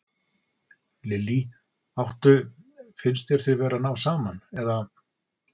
Lillý: Áttu, finnst þér þið vera að ná saman, eða?